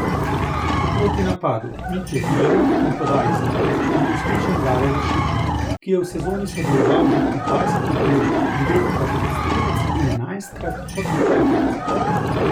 Po protinapadu Mitje Vilerja in podaji z leve je bil uspešen Dare Vršič, ki je v sezoni sodeloval že pri dvajsetih golih, devetkrat kot strelec in enajstkrat kot podajalec.